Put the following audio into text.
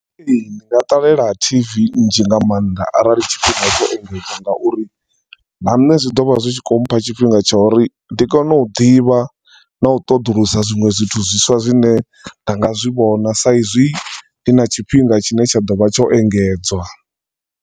Ndi nga ṱalela T_V nzhi nga maanḓa arali tshifhinga tsho engedzwa ngauri na nṋe zwi ḓo vha zi khou mpha tshifhinga tsha uri ndi kone u ḓivha na u ṱoḓulusa zwiṅwe zwithu zwiswa zwine anga zwi vhona sa izwi ndi na tshifhinga tshi ne tsha ḓovha tsho engedzwa.